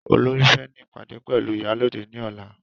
Olorì fẹ́ ní ìpàdé pẹ̀lú iyalode ní ọ̀la